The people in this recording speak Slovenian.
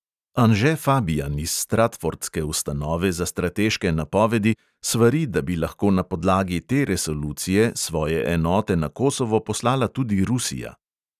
Anže fabijan iz stratfordske ustanove za strateške napovedi svari, da bi lahko na podlagi te resolucije svoje enote na kosovo poslala tudi rusija.